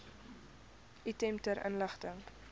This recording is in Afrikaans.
item ter inligting